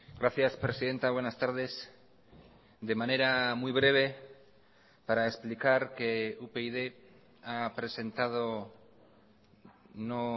gracias presidenta buenas tardes de manera muy breve para explicar que upyd ha presentado no